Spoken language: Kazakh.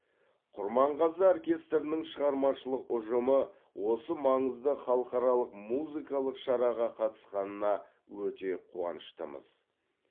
құрманғазы оркестрінің шығармашылық ұжымы осы маңызды халықаралық музыкалық шараға қатысқанына өте қуаныштымыз